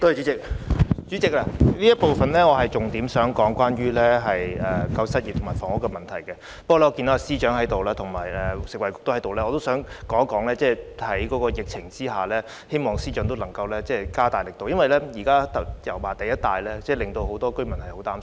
代理主席，這個環節我想重點討論救失業和房屋的問題，但我看到司長和食物及衞生局局長在席，我想請司長考慮在疫情下加大抗疫工作的力度，因為現時油麻地一帶的居民十分擔心。